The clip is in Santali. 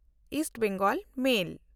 ᱤᱥᱴ ᱵᱮᱝᱜᱚᱞ ᱢᱮᱞ